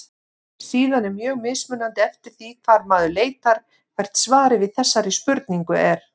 Síðan er mjög mismunandi eftir því hvar maður leitar hvert svarið við þessari spurningu er.